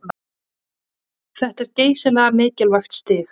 Þetta er geysilega mikilvægt stig